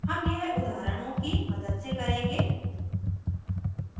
हम यह उदाहरणों की मदद से करेंगे